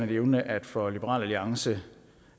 nævne at for liberal alliance